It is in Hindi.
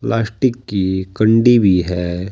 प्लास्टिक की कंडी भी है।